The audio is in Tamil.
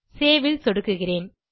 சேவ் ல் சொடுக்குகிறேன்